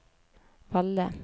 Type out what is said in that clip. Valle